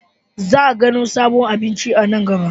Za a gano sabbin abinci a nan gaba.